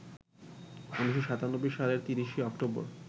১৯৯৭ সালের ৩০শে অক্টোবর